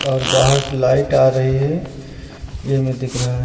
और बाहर से लाइट आ रही है ये हमें दिख रहा है।